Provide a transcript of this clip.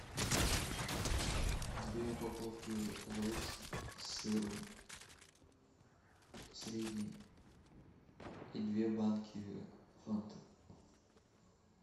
две упаковки лейс с сыром средние и две банки фанты